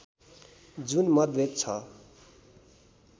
जुन मतभेद छ